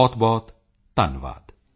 ਬਹੁਤਬਹੁਤ ਧੰਨਵਾਦ